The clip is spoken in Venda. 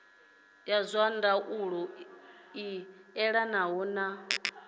zwa ndaulo i elanaho na